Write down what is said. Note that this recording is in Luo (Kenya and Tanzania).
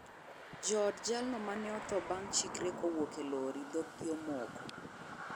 Jood jalno mane otho bang' chikre kowuok e lori, dhoggi omoko.